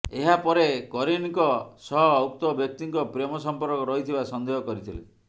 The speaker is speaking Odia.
ଏହାପରେ କରିନଙ୍କ ସହ ଉକ୍ତ ବ୍ୟକ୍ତିଙ୍କ ପ୍ରେମ ସମ୍ପର୍କ ରହିଥିବା ସନ୍ଦେହ କରିଥିଲେ